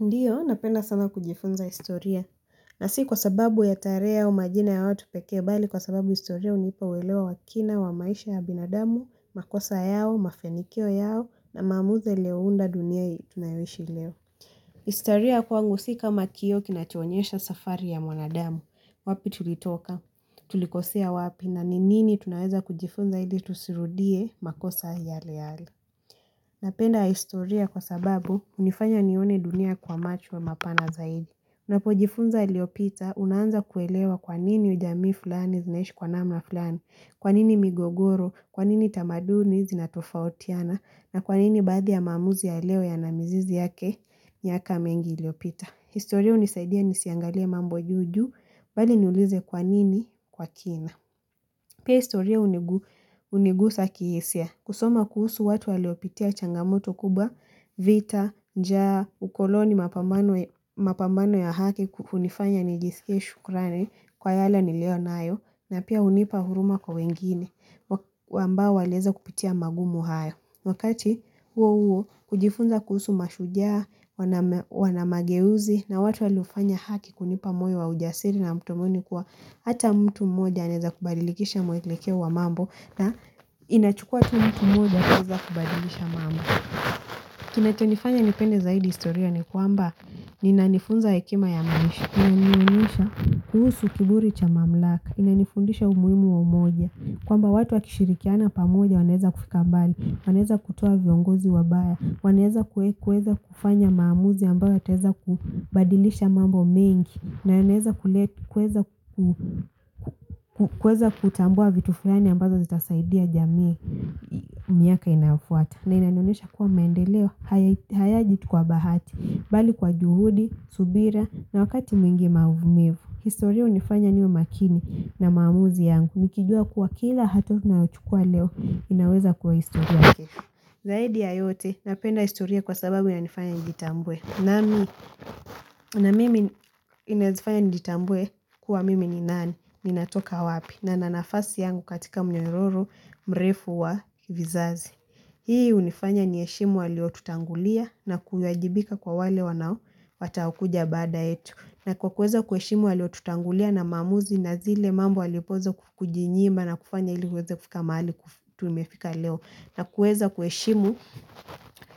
Ndiyo, napenda sana kujifunza historia. Na si kwa sababu ya tarehe au majina ya watu pekee bali kwa sababu historia hunipa uelewa wa kina wa maisha ya binadamu, makosa yao, mafanikio yao na maamuzi yaliounda dunia hiii tunayoishi leo. Historia kwangu si kama kioo kinachoonyesha safari ya mwanadamu, wapi tulitoka, tulikosea wapi na ni nini tunaweza kujifunza ili tusirudie makosa yale yale. Napenda historia kwa sababu hunifanya nione dunia kwa macho wa mapana zaidi. Napojifunza yaliyopita unaanza kuelewa kwa nini ujamii fulani zinaishi kwa namna fulani, kwa nini migogoro, kwa nini tamaduni zinatofautiana, na kwa nini baadhi ya maamuzi ya leo yana mizizi yake miaka mengi iliyopita. Historia hunisaidia nisiangalie mambo juu juu bali niulize kwa nini kwa kina. Pia historia hunigusa kihisia. Kusoma kuhusu watu waliopitia changamoto kubwa, vita, njaa, ukoloni mapambano ya haki hunifanya nijisike shukrani kwa yale niliyo nayo na pia hunipa huruma kwa wengine ambao waliweza kupitia magumu haya. Wakati huo huo kujifunza kuhusu mashujaa, wana mageuzi na watu waliofanya haki hunipa moyo wa ujasiri na matumaini kuwa hata mtu mmoja aneza kubadilikisha mwelekeo wa mambo na inachukua tu mtu mmoja kuweza kubadililisha mambo. Kinachonifanya nipende zaidi historia ni kwamba inanifunza hekima ya maisha. Inanionyesha kuhusu kiburi cha mamlaka, inanifundisha umuimu wa umoja. Kwamba watu wakishirikiana pamoja wanaeza kufika mbali, wanaeza kutoa viongozi wabaya, wanaeza kueza kufanya maamuzi ambayo yataeza kubadilisha mambo mingi, na wanaeza kutambua vitu fulani ambayo zitasaidia jamii miaka inayofuata. Na inanionesha kuwa mendeleo hayaji tu kwa bahati bali kwa juhudi, subira na wakati mwingi maumivu historia hunifanya niwe makini na maamuzi yangu nikijua kuwa kila hatua nayochukua leo inaweza kuwa historia zaidi ya yote napenda historia kwa sababu inanifanya njitambue na mimi inaeza fanya nijitambue kuwa mimi ni nani ninatoka wapi na na nafasi yangu katika mnyororo mrefu wa vizazi Hii hunifanya niheshimu waliotutangulia na kuyajibika kwa wale wanao wataokuja baada yetu na kwa kueza kuheshimu waliotutangulia na maamuzi na zile mambo walipoza kujinyima na kufanya ili ueze kufika mahali tumefika leo na kueza kueshimu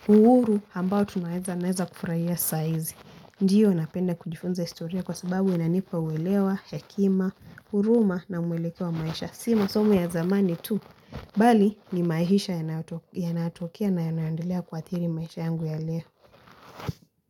uhuru ambao tunaweza naweza kufurahia saizi Ndiyo napenda kujifunza historia kwa sababu inanipa uwelewa, hakima, huruma na mwelekeo wa maisha Si masomo ya zamani tu Bali ni maisha yanayotokea na yanaendelea kuathiri maisha yangu ya leo.